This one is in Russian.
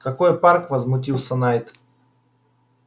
какой парк возмутился найд